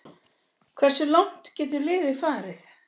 Hversu langt getur liðið farið?